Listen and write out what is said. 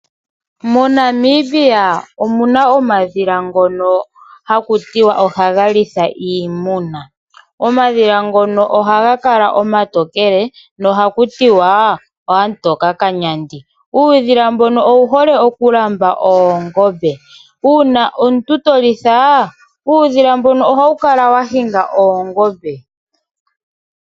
Mo Namibia omuna omadhila ngono haku tiwa ohaga litha iimuna. Omadhila ngono ohaga kala omatokele noha kutiwa oo Amutoka Kanyandi uudhila mbono owu hole oku lamba oongombe. Uuna omuntu to litha uudhila ohawu ohawu kala wa hinga oongombe.